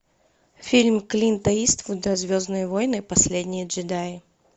фильм клинта иствуда звездные войны последние джедаи